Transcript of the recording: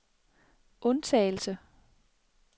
undtagelse